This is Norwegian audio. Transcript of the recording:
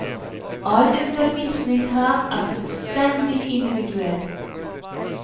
All undervisning her er fullstendig individuell.